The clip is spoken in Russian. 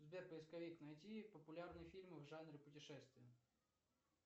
сбер поисковик найти популярные фильмы в жанре путешествия